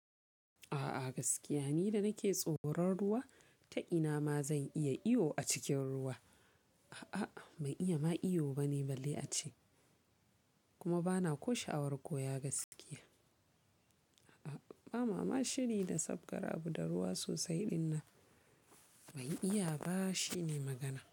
A'a gaskiya ni da nake tsoron ruwa ta ina ma zan iya iyo a cikin ruwa. A'a ban iya ma iyo bane balle ace kuma bana ko sha'awar koya gaskiya. A'a ba ma ma shiri na sabgarea abu da ruwa sosai ɗinnan ban iya ba shi ne magana.